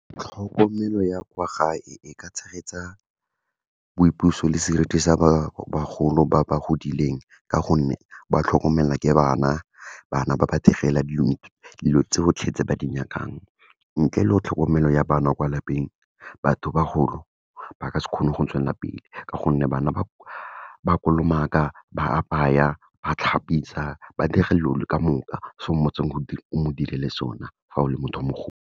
Tlhokomelo ya kwa gae e ka tshegetsa boipuso le seriti sa bagolo ba ba godileng, ka gonne ba tlhokomela ke bana, bana ba ba direla dilo tsotlhe tse ba di nyakang. Ntle le go tlhokomelo ya bana kwa lapeng, batho bagolo, ba ka se kgone go tswelelapele ka gonne bana ba kolomaka, ba apaya, ba tlhapisa, ba dira dilo ka moka, se go modirele sona, fa o le motho mogolo.